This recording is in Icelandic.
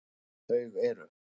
Þau eru: